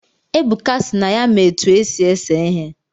Ebuka sị na ya-ma etu esi ese ihe